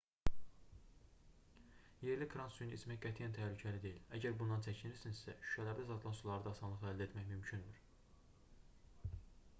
yerli krant suyunu içmək qətiyyən təhlükəli deyil əgər bundan çəkinirsinizsə şüşələrdə satılan suları da asanlıqla əldə etmək mümkündür